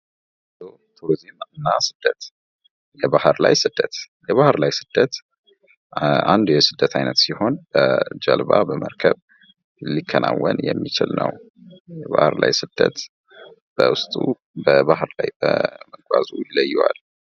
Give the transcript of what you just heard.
ጉዞ ቱሪዝም እና ስደት የባህር ላይ ስደት፤ የባህር ላይ ስደት አንድ የስደት አይነት ሲሆን በጀልባ በመርከብ ሊከናወን የሚችል ነው። የባህር ላይ ስደት በዉስጡ በባህር ላይ መጓዙ ይለየዋል።